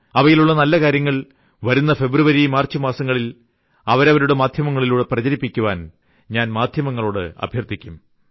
അവയിൽ ഉള്ള നല്ല കാര്യങ്ങൾ വരുന്ന ഫെബ്രുവരി മാർച്ച് മാസങ്ങളിൽ അവരവരുടെ മാധ്യമങ്ങളിലൂടെ പ്രചരിപ്പിക്കാൻ ഞാൻ മാധ്യമങ്ങളോട് അഭ്യർത്ഥിക്കും